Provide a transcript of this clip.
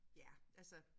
Ja altså